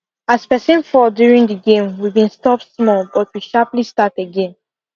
as person fall during the game we been stop small but we sharply start again